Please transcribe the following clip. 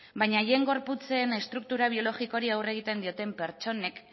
baina haien gorputzen estruktura biologikoari aurre egiten dioten pertsonek